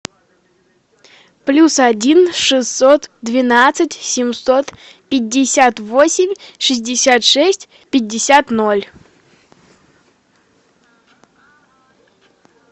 плюс один шестьсот двенадцать семьсот пятьдесят восемь шестьдесят шесть пятьдесят ноль